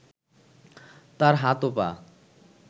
তার হাত ও পা